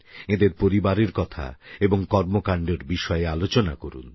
এঁদের পরিবারের কথা এবং কর্মকাণ্ডের বিষয়ে আলোচনা করুন